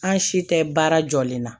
An si tɛ baara jɔlen na